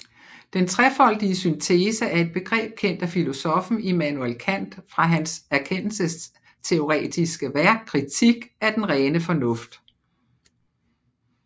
Den trefoldige syntese er et begreb kendt af filosoffen Immanuel Kant fra hans erkendelsesteoretiske værk Kritik af den rene fornuft